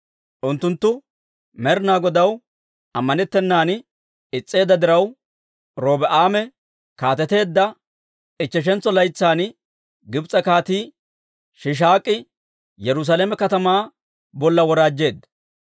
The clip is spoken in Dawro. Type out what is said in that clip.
Unttunttu Med'inaa Godaw ammanettennan is's'eedda diraw, Robi'aame kaateteedda ichcheshantso laytsan Gibs'e Kaatii Shiishaak'i Yerusaalame katamaa bolla woraajjeedda.